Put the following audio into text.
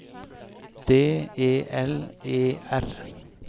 D E L E R